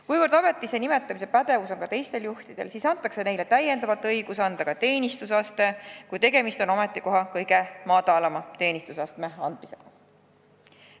Kuna ametisse nimetamise pädevus on ka teistel juhtidel, siis saavad nad täiendavalt õiguse anda ka teenistusaste, kui tegemist on ametikoha kõige madalama teenistusastme andmisega.